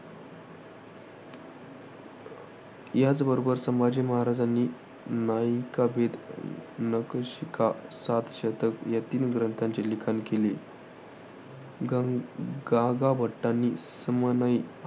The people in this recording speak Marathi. याचबरोबर संभाजी महाराजांनी नायिकाभेद, नखशिखा, सातशतक या तीन ग्रंथांचे लिखाण केले. गागा~ गागाभट्टांनी समयनय